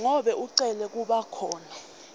ngabe ucele kubakhona